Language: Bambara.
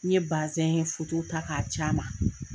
N ye basɛn foto ta k'a ci a ma.